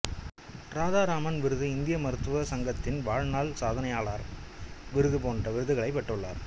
இராதா ராமன் விருது இந்திய மருத்துவ சங்கத்தின் வாழ்நாள் சாதனையாளர் விருது போன்ற விருதுகளைப் பெற்றுள்ளார்